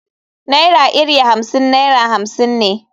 Naira iri Hamsin naira hamsin ne.